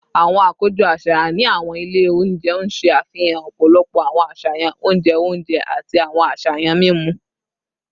Awọn akojọ aṣayan ni awọn ile ounjẹ n ṣe afihan ọpọlọpọ awọn aṣayan ounjẹ ounjẹ ati awọn aṣayan mimu